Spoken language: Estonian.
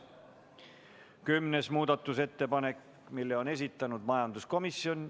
Kümnenda muudatusettepaneku on esitanud majanduskomisjon.